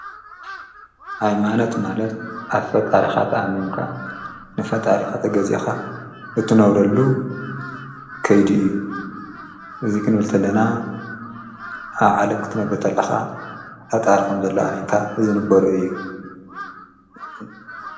ሃይማነት ማለት ኣፈ ጣሪኻት ኣሜንካ ንፈ ጣሪኻት ገዜኻ እትነብረሉ ከይድ እዩ እዙይ ኽንብልተለና ኣብ ዓለም ክትነብርተኣለኻ ሓጥርኸም ዘለ ኣሜንካ ዝንበሮ እዩ።